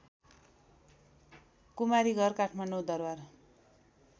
Kumari Ghar Kathmandu Darbar